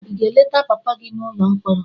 Ị ga-eleta papa gị n'ụlọ mkpọrọ?